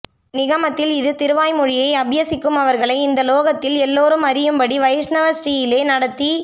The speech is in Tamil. நிகமத்தில் இது திருவாய் மொழியை அப்யசிக்குமவர்களை இந்த லோகத்தில் எல்லாரும் அறியும் படி வைஷ்ணவ ஸ்ரீ யிலே நடத்தி